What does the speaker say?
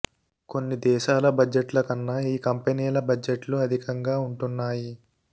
కొన్ని దేశాల బడ్జెట్ ల కన్నా ఈ కంపెనీల బడ్జెట్లు అధికంగా ఉంటున్నాయి